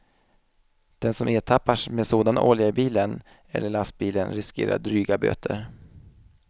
Den som ertappas med sådan olja i bilen eller lastbilen riskerar dryga böter.